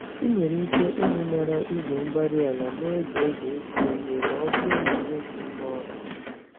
Ị nwere ike ịñụnara igwe-mgbárí-ala n'oge oge ịkụ ìhè, m'ọbụrụ na ịnweghị ngwá ọrụ